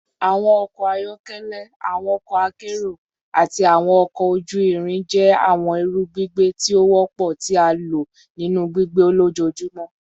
Awọn ọkọ ayọkẹlẹ, awọn ọkọ akero, ati awọn ọkọ oju-irin jẹ awọn iru gbigbe ti o wọpọ ti a lo ninu gbigbe lojoojumọ